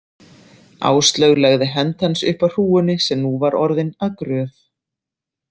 Áslaug lagði hönd hans upp að hrúgunni sem nú var orðin að gröf.